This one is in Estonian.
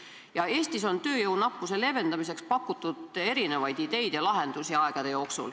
Eestis on aegade jooksul tööjõunappuse leevendamiseks pakutud erinevaid ideid ja lahendusi.